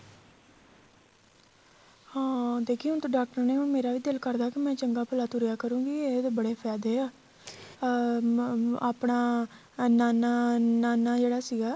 ਹਾਂ ਦੇਖਿਓ ਤਾਂ ਡਾਕਟਰ ਨੇ ਹੁਣ ਮੇਰਾ ਵੀ ਦਿਲ ਕਰਦਾ ਕੀ ਚੰਗਾ ਭਲਾ ਤੁਰਿਆ ਕਰੂਗੀ ਇਹ ਤਾਂ ਬੜੇ ਫਾਇਦੇ ਆ ਅਹ ਆਪਣਾ ਨਾਨਾ ਨਾਨਾ ਜਿਹੜਾ ਸੀਗਾ